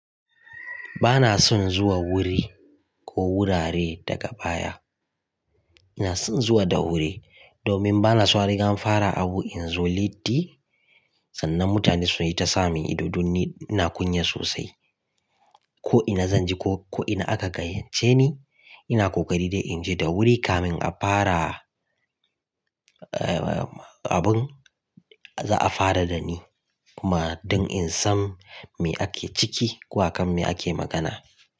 Ba na son zuwa wuri ko wurare daga baya. Ina son zuwa da wuri domin ba na so rigan fara abu in zo latti sannan mutane su yi ta sa min ido danni. Ina kunya sosai. Ko ina zan je ko ina aka gayyace ni, ina ƙoƙari dai in je da wuri kamin a fara abun za a fara da ni kuma don in san me ake ciki ko hakan me ake magana.